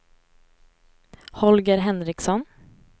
Holger Henriksson